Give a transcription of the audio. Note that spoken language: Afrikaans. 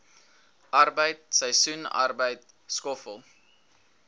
arbeid seisoensarbeid skoffel